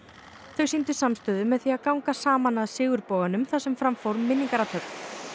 þau sýndu samstöðu með því að ganga saman að þar sem fram fór minningarathöfn